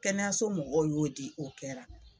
Kɛnɛyaso mɔgɔw y'o di o kɛra